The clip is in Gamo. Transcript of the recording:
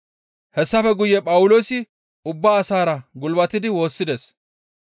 Hessafe guye Phawuloosi ubba asaara gulbatidi woossides.